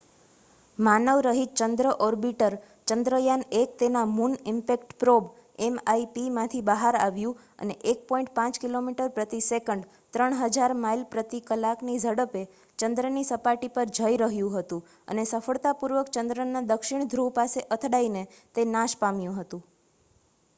માનવરહિત ચંદ્ર ઓર્બિટર ચંદ્રયાન-1 તેના મુન ઈમ્પેક્ટ પ્રોબ mip માંથી બહાર આવ્યું અને 1.5 કિલોમીટરપ્રતિ સેકન્ડ 3000 માઇલ પ્રતિ કલાકની ઝડપે ચંદ્રની સપાટી પર જઈરહ્યું હતું અને સફળતાપૂર્વક ચંદ્રના દક્ષિણ ધ્રુવ પાસે અથડાઈને તે નાશપામ્યું હતું